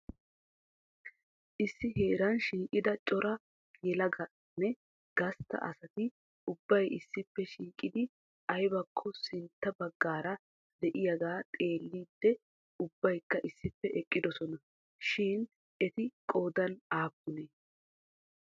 Issi heeran shiiqida cora yelaganne gastta asati ubbay issippe shiiqidi aybbako sintta baggaara de'iyaaga xeellidi ubbaykka issippe eqqidoosona. Shin eri qoodan aappune?